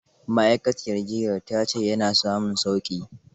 Ma'aikaciyar jiyyar ta ce ya na samun sauƙi.